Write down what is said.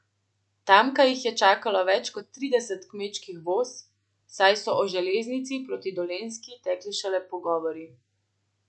Tamkaj jih je čakalo več kot trideset kmečkih voz, saj so o železnici proti Dolenjski tekli šele pogovori.